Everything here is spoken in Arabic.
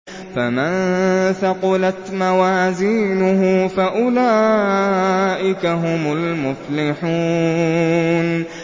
فَمَن ثَقُلَتْ مَوَازِينُهُ فَأُولَٰئِكَ هُمُ الْمُفْلِحُونَ